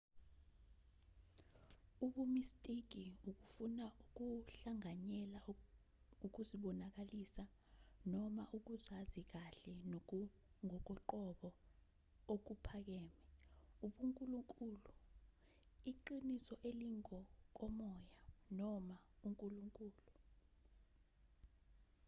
ubumistiki ukufuna ukuhlanganyela ukuzibonakalisa noma ukuzazi kahle nokungokoqobo okuphakeme ubunkulunkulu iqiniso elingokomoya noma unkulunkulu